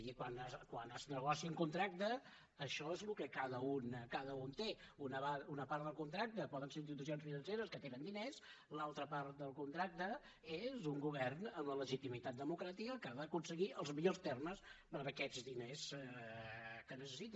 i quan es negocia un contracte això és el que cada un té una part del contracte poden ser institucions financeres que tenen diners l’altra part del contracte és un govern amb la legitimitat democràtica que ha d’aconseguir els millors termes per a aquests diners que necessita